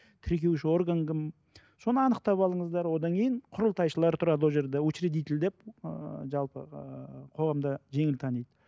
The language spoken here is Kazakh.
тіркеуші орган кім соны анықтап алыңыздар одан кейін құрылтайшылар тұрады ол жерде учередитель деп ыыы жалпы ыыы қоғамда жеңіл таниды